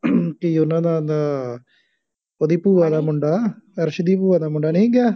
ਕੀ ਉਹਨਾ ਦਾ ਦਾ ਉਹਦੀ ਭੂਆ ਦਾ ਮੁੰਡਾ ਅਰਸ਼ ਦੀ ਭੂਆ ਦਾ ਮੁੰਡਾ ਨਹੀਂ ਗਿਆ